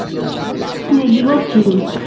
কিরে কি করছিস?